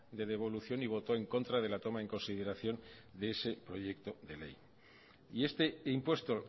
de devolución y votó en contra de la toma en consideración de ese proyecto de ley y este impuesto